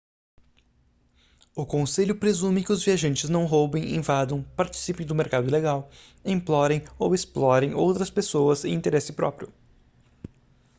o conselho presume que os viajantes não roubem invadam participem do mercado ilegal implorem ou explorem outras pessoas em interesse próprio